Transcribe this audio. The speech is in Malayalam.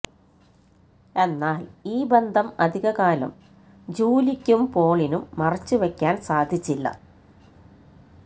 എന്നാല് ഈ ബന്ധം അധികകാലം ജൂലിക്കും പോളിനും മറച്ചുവെക്കാന് സാധിച്ചില്ല